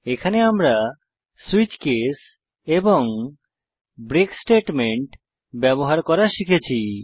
এখানে আমরা switch case এবং ব্রেক স্টেটমেন্ট ব্যবহার করা শিখেছি